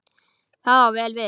Það á vel við.